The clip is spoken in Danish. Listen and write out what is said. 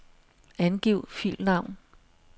Angiv filnavn.